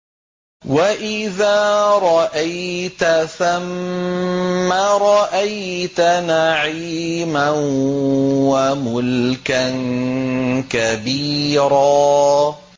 وَإِذَا رَأَيْتَ ثَمَّ رَأَيْتَ نَعِيمًا وَمُلْكًا كَبِيرًا